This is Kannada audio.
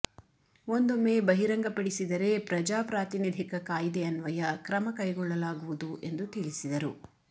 ಒಂದೊಮ್ಮೆ ಬಹಿರಂಗಪಪಡಿಸಿದರೆ ಪ್ರಜಾಪ್ರಾತಿನಿಧಿಕ ಕಾಯ್ದೆ ಅನ್ವಯ ಕ್ರಮ ಕೈಗೊಳ್ಳಲಾಗುವುದು ಎಂದು ತಿಳಿಸಿದರು